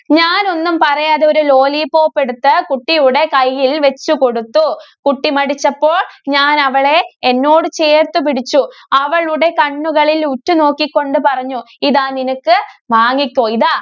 ഞാനൊന്നും പറയാതെ ഒരു ലോലിപോപ്പ് എടുത്ത് കുട്ടിയുടെ കൈയില്‍ വച്ചു കൊടുത്തു. കുട്ടി മടിച്ചപ്പോള്‍ ഞാന്‍ അവളെ എന്നോട് ചേര്‍ത്ത് പിടിച്ചു. അവളുടെ കണ്ണുകളില്‍ ഉറ്റുനോക്കി കൊണ്ട് പറഞ്ഞു. ഇതാ, നിനക്ക് വാങ്ങിക്കോ. ഇതാ.